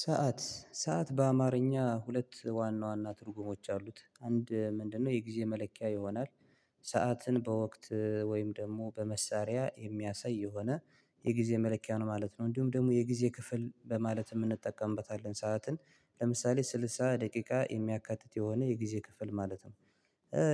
ሰዓት ሰዓት በአማርኛ ሁለት ዋና ዋና ትርጉሞች አሉት አንድ ምንድነው? የጊዜ መለኪያ ይሆናል። ሰዓትን በወቅት ወይም ደግሞ በመሳሪያ የሚያሳይ የሆነ የጊዜ መለኪያ ነው ማለት ነው። እንዲሁም ደግሞ የጊዜ ክፍል በማለት የምንጠቀምበታለን ሰዓትን ለምሳሌ ስልሳ ደቂቃ የሚያካትት የሆነ የጊዜ ክፍል ማለት ነው።